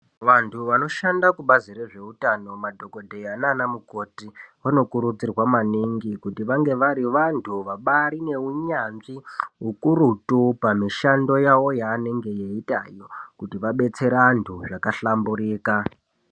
Vantu vanoshanda kubazi rezvehutano madhokodheya nana mukoti vanokurudzirwa maningi kuti vange vari vantu vane hunyanzvi ukurutu pamishando yavo yavanenge veita iyo kuti vadetsere antu zvabahlamburuka.